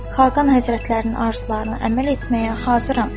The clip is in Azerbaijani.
Xaqan Həzrətlərinin arzularına əməl etməyə hazıram.